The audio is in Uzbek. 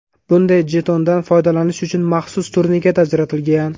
Bunday jetondan foydalanish uchun maxsus turniket ajratilgan.